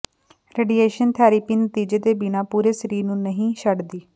radiation therapy ਨਤੀਜੇ ਦੇ ਬਿਨਾਂ ਪੂਰੇ ਸਰੀਰ ਨੂੰ ਨਹੀਂ ਛੱਡਦੀ